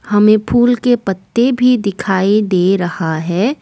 हमें फूल के पत्ते भी दिखाई दे रहा है।